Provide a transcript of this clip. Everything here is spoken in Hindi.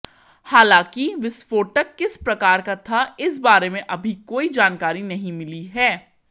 हालांकि विस्फोटक किस प्रकार का था इस बारे में अभी कोई जानकारी नहीं मिली है